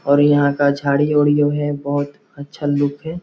और यहाँ का झाड़ी उढ़ी जो है बहोत अच्छा लुक है।